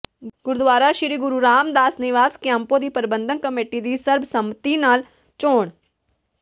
ਗੁਰਦੁਆਰਾ ਸ੍ਰੀ ਗੁਰੂ ਰਾਮਦਾਸ ਨਿਵਾਸ ਕਿਆਂਪੋ ਦੀ ਪ੍ਰਬੰਧਕ ਕਮੇਟੀ ਦੀ ਸਰਬਸੰਮਤੀ ਨਾਲ ਚੋਣ